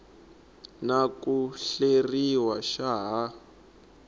na ku hleriwa xa ha